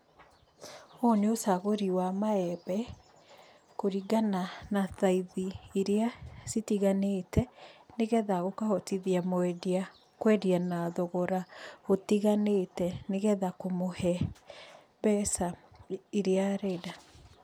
Ũyũ nĩ ũcagũri wa maembe kũringana na thaithi iria citiganĩte nĩ getha ũkahotithia mwendia kwendia na thogora ũtiganĩte nĩ getha kũmũhe mbeca iria arenda.